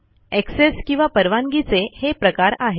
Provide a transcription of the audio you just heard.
access किंवा परवानगीचे हे प्रकार आहेत